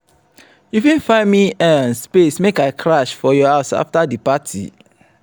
you fit find me um space make i crash for your house afta di party?